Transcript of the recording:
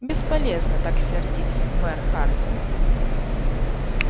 бесполезно так сердиться мэр хардин